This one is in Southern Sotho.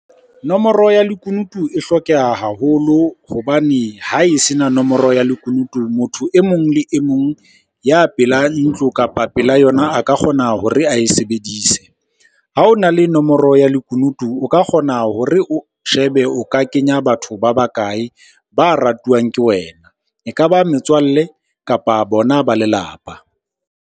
Nomoro ya lekunutu e hlokeha haholo hobane ha e se na nomoro ya lekunutu, motho e mong le e mong ya pela ntlo kapa pela yona a ka kgona hore ae sebedise. Ha o na le nomoro ya lekunutu, o ka kgona hore o shebe o ka kenya batho ba bakae ba ratuwang ke wena. E ka ba metswalle, kapa bona ba lelapa.